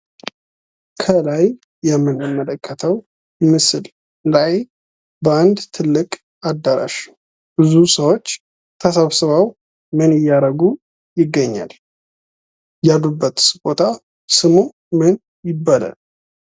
ከላይ የምንመለከተው ምስል ላይ በአንድ ትልቅ አዳራሽ ብዙ ሰዎች ተሰብስበው ምን እያረጉ ይገኛል ያሉበትስ ቦታ ስሙ ምን ይባላል